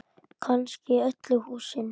Kannski í öllu húsinu.